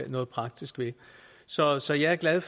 noget praktisk ved så så jeg er glad